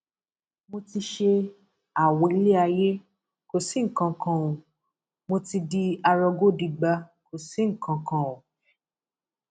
nínú orin yìí orin yìí náà ni mà á um dé ti rí owó ra ìlọpo um mẹwàá mọtò yẹn o